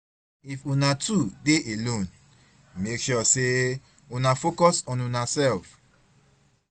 if una two dey alone, mek sure sey una focus on unasef